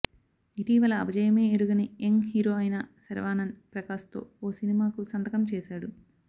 ఇటీవల అపజయమే ఎరుగని యంగ్ హీరో అయిన శర్వానంద్ ప్రకాశ్తో ఓ సినిమాకు సంతకం చేశాడు